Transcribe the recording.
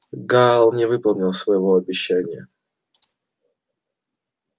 гаал не выполнил своего обещания